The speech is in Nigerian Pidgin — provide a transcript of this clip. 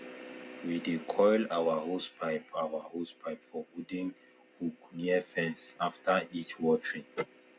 we dey coil our hosepipe our hosepipe for wooden hook near fence after each watering